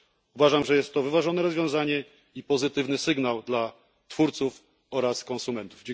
Uważam, że jest to wyważone rozwiązanie i pozytywny sygnał dla twórców oraz konsumentów.